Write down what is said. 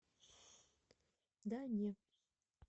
да не